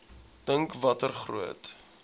dink watter groot